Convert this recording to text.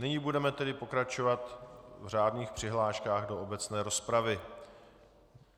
Nyní budeme tedy pokračovat v řádných přihláškách do obecné rozpravy.